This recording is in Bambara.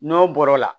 N'o bɔra o la